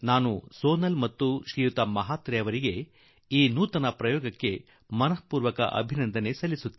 ನಾನು ಸೋನಾಲ್ ಳನ್ನು ಮತ್ತು ಶ್ರೀಮಾನ್ ಮಹಾತ್ರೆ ಜೀ ಅವರಿಗೆ ಈ ಅಭಿನವ ಪ್ರಯತ್ನಕ್ಕಾಗಿ ಬಹಳವೇ ಶುಭಕಾಮನೆಗಳನ್ನು ಕೊರುವೆ